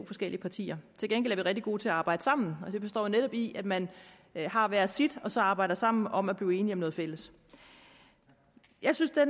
forskellige partier til gengæld er vi rigtig gode til at arbejde sammen og det består jo netop i at man har hver sit og så arbejder sammen om at blive enige om noget fælles jeg synes at